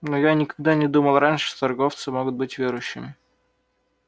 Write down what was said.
но я никогда не думал раньше что торговцы могут быть верующими